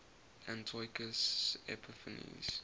antiochus epiphanes